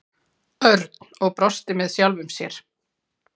Örn og brosti með sjálfum sér.